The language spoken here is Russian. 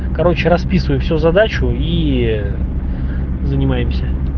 короче расписываю все задачу и занимаемся